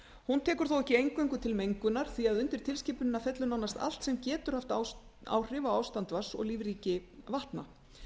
hún tekur þó ekki eingöngu til mengun því undir tilskipunina fellur nánast allt sem getur haft áhrif á ástand vatns og lífríki vatna